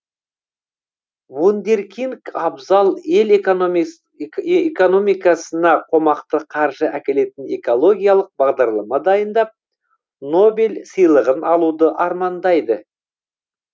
вундеркинг абзал ел экономикасына қомақты қаржы әкелетін экологиялық бағдарлама дайындап нобель сыйлығын алуды армандайды